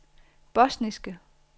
bosniske